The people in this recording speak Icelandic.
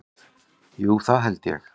Jú, það held ég